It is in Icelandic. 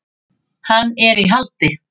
Hann er í haldi.